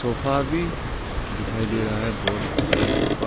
Sofa भी दिखाई दे रहा है बहुत बड़ा सोफा ।